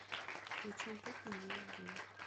включи бруклин девять девять